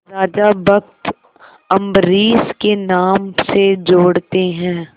राजा भक्त अम्बरीश के नाम से जोड़ते हैं